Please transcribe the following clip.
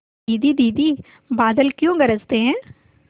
दीदी दीदी बादल क्यों गरजते हैं